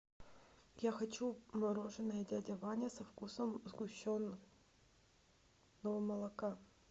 я хочу мороженое дядя ваня со вкусом сгущенного молока